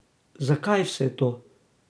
Zakaj vse to?